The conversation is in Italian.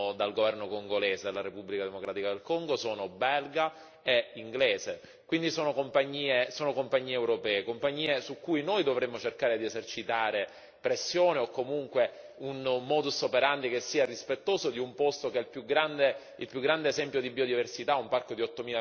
dal governo congolese, dalla Repubblica democratica del Congo, sono belga e inglese, quindi sono compagnie europee, compagnie su cui noi dovremmo cercare di esercitare pressione o comunque un modus operandi che sia rispettoso di un posto che è il più grande esempio di biodiversità, un parco di